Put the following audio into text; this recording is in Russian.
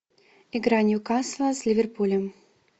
игра ньюкасла с ливерпулем